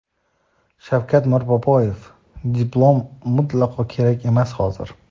Shavkat Mirziyoyev: Diplom mutlaqo kerak emas hozir.